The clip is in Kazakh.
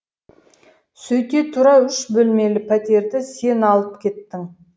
сөйте тұра үш бөлмелі пәтерді сен алып кеттің